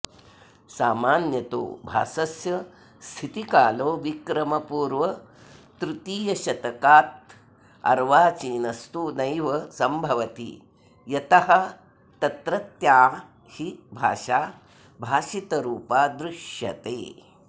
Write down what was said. सामान्यतो भासस्य स्थितिकालो विक्रमपूर्वतृतीयशतकादर्वाचीनस्तु नैव सम्भवति यतस्तत्रत्या हि भाषा भाषितरूपा दृश्यते